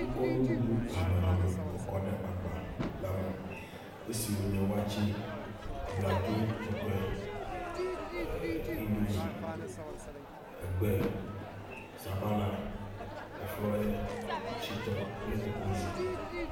Wokɔ nuɖuɖu hamahama kɔ kɔ ɖe agba la me esi wonye waakye, abladzo tɔtoe, eer indomie, egbe, sabala, efrɔye, shitɔ kple koklozi.